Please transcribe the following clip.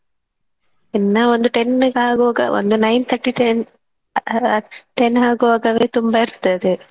ಇನ್ನ ಒಂದು ten ಗ್ ಆಗುವಾಗ ಒಂದು nine thirty ten ಆ~ ten ಆಗುವಾಗ ತುಂಬಾ ಇರ್ತದೆ.